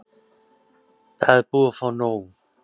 Það er búið að fá nóg.